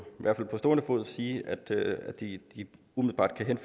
stående fod sige at de umiddelbart kan